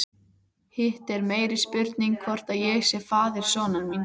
Hitt er meiri spurning hvort ég sé faðir sonar míns.